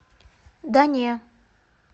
да не